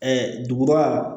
duguba